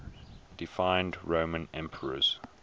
deified roman emperors